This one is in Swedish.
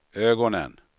ögonen